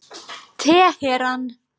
Teheran